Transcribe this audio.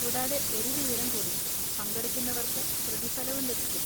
കൂടാതെ ഒരു വിവരം കൂടി, പങ്കെടുക്കുന്നവർക്ക് പ്രതിഫലവും ലഭിക്കും.